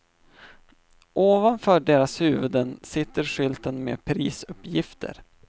Ovanför deras huvuden sitter skylten med prisuppgifter.